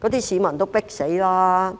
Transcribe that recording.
那些市民已經"迫死"了。